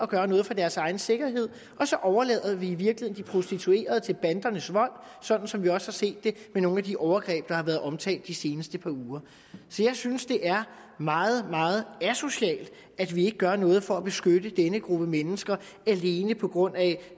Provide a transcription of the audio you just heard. gøre noget for deres egen sikkerhed og så overlader vi i virkeligheden de prostituerede i bandernes vold sådan som vi også har set det med nogle af de overgreb der har været omtalt de seneste par uger jeg synes det er meget meget asocialt at vi ikke gør noget for at beskytte denne gruppe mennesker alene på grund af